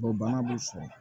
bana b'u sɔrɔ